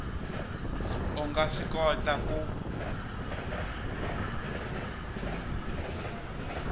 a nga swi kota ku